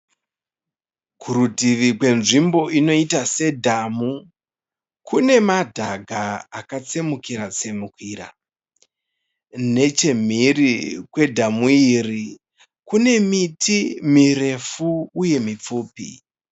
Kurutivi kwenzvimbo inoita sedhamu, kune madhaga akatsemukira tsemukira. Nechemhiri kwedhamu iri, kune miti mirefu uye mipfupi